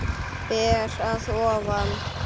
Ber að ofan.